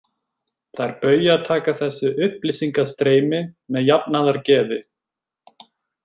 Þær Bauja taka þessu upplýsingastreymi með jafnaðargeði.